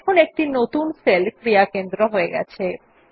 এখন একটি নতুন সেল ক্রিয়া কেন্দ্র হয়ে গেছে